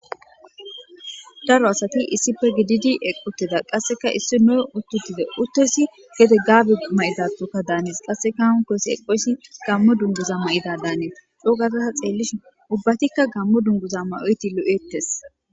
Daaro asati issippe giddidi eqqi uttida qasseka issino utti uttida baggati gaabe mayidayssatho daanes qasseka hankkoyssi eqqoyssi gammo dunguza mayidi dannes coo gaada ta xeelishin ubbatika gammo dungguza mayoyti lo'ettes.